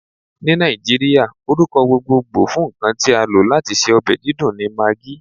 Ni Naijiria, orukọ gbogbogbo fun nkan ti a lo lati ṣe ọbẹ didùn ni Maggi.